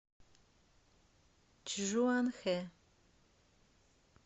чжуанхэ